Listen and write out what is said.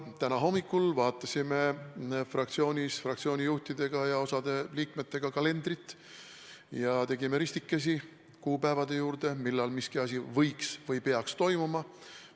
Täna hommikul vaatasime fraktsiooni juhtide ja mõne liikmega kalendrit ning tegime ristikesi kuupäevade juurde, millal miski asi võiks või peaks toimuma.